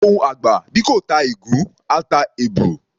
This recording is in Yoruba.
Ohùn àgbà, bí kò ta ìgún, á ta èbù.